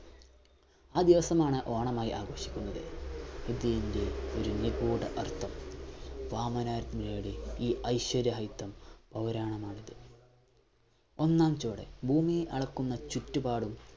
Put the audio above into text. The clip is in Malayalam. ആ ദിവസമാണ് ഓണമായി ആഘോഷിക്കുന്നത്. ഇതിന്റെ നിഗൂഢ അർത്ഥം ഈ ഐശ്വര്യരാഹിത്യം പൗരാണമായിട്ട് ഒന്നാം ചുവടു ഭൂമി അളക്കുന്ന ചുറ്റുപാടും